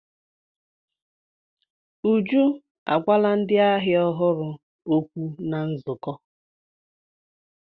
Uju agwala ndị ahịa ọhụrụ okwu na nzukọ.